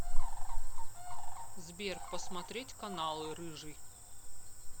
сбер посмотреть каналы рыжий